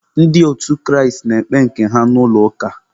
Ndị otu Kraịst na-ekpe nke ha n'ụlọ ụka.